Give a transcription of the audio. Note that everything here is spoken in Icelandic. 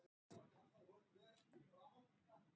Þú ferð með